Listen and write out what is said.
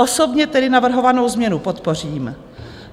Osobně tedy navrhovanou změnu podpořím.